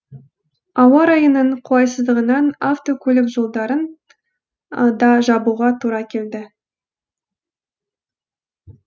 ауа райының қолайсыздығынан автокөлік жолдарын да жабуға тура келді